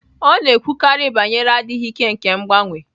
Ọ na-ekwukarị banyere adịghị ike nke mgbanwe